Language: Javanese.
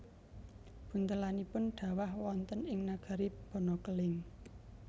Buntelanipun dhawah wonten ing nagari Banakeling